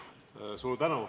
Palun!